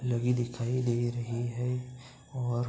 लगी दिखाई दे रही है और --